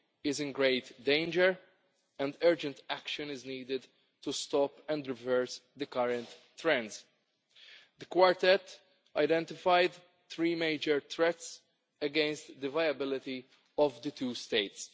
is in great danger, and urgent action is needed to stop and reverse the current trends. The Quartet identified three major threats against the viability of the two states.